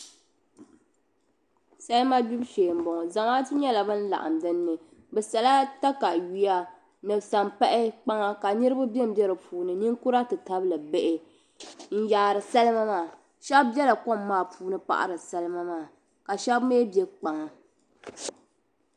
Salima gbibu shee m bo ŋɔ zamaatu nyela ban laɣim din ni bɛ sala takayuhi ni sampahi kpaŋa ka niribi benbe di puuni ninkura ti tabili bihi n yaari salima maa shɛb biɛla kom maa puuni n pahiri salima maa ka shɛb mi biɛ kpaŋa.